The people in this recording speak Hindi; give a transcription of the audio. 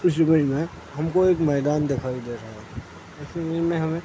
इस इमेज में हमें को एक मैदान दिखाई दे रहा है इस इमेज में हमें --